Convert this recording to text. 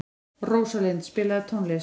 Rósalind, spilaðu tónlist.